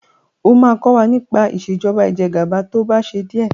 ọ má kò wá nipa Ìṣèjọba Ìjẹgàba tó bà ṣe diẹ!